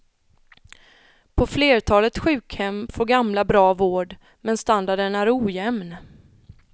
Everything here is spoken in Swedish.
På flertalet sjukhem får gamla bra vård, men standarden är ojämn.